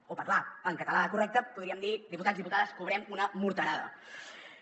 o parlar en català correcte podríem dir diputats i diputades cobrem una morterada